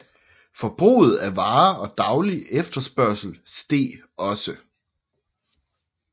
Forbruget af varer og daglig efterspørgsel steg også